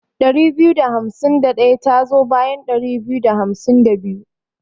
Ɗari biyu da hamsin da ɗaya tazo bayan ɗari biyu da hamsin da biyu.